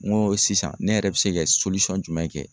N go sisan ne yɛrɛ bi se ka jumɛn kɛ?